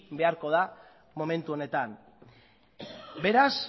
beharko da momentu honetan beraz